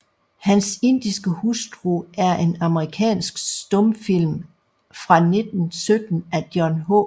Hans indiske Hustru er en amerikansk stumfilm fra 1917 af John H